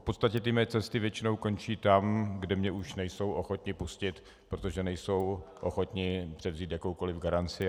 V podstatě ty mé cesty většinou končí tam, kde mě už nejsou ochotni pustit, protože nejsou ochotni převzít jakoukoliv garanci.